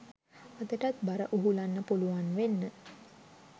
අදටත් බර උහුලන්න පුළුවන් වෙන්න